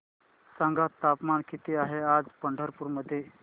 सांगा तापमान किती आहे आज पंढरपूर मध्ये